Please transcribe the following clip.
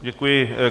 Děkuji.